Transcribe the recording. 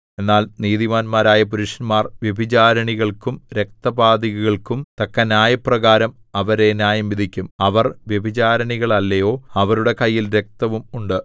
എന്നാൽ നീതിമാന്മാരായ പുരുഷന്മാർ വ്യഭിചാരിണികൾക്കും രക്തപാതകികൾക്കും തക്ക ന്യായപ്രകാരം അവരെ ന്യായംവിധിക്കും അവർ വ്യഭിചാരിണികളല്ലയോ അവരുടെ കയ്യിൽ രക്തവും ഉണ്ട്